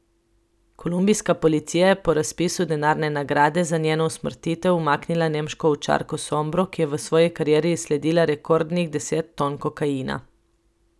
Kolumbijska policija je po razpisu denarne nagrade za njeno usmrtitev umaknila nemško ovčarko Sombro, ki je v svoji karieri izsledila rekordnih deset ton kokaina.